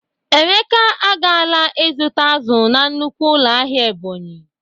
Emeka agala izụta azụ na nnukwu ụlọ ahịa Ebonyi.